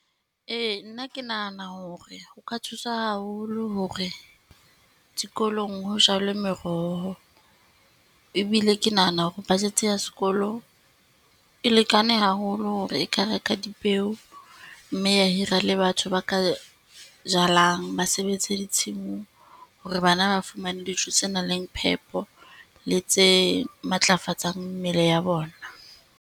Ee, nna ke nahana hore o ka thusa haholo hore dikolong ho jalwe meroho, ebile ke nahana hore budget ya sekolo e lekane haholo hore e ka ho reka dipeo, mme ya hira le batho ba ka jalang. Ba sebetse ditshimong hore bana ba fumane dijo tse nang le phepo, le tse matlafatsang mmele ya bona.